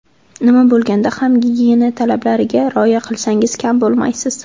Nima bo‘lganda ham gigiyena talablariga rioya qilsangiz kam bo‘lmaysiz.